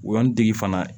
Woyan tigi fana